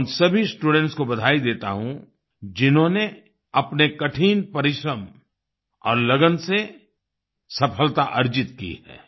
मैं उन सभी स्टूडेंट्स को बधाई देता हूँ जिन्होंने अपने कठिन परिश्रम और लगन से सफलता अर्जित की है